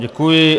Děkuji.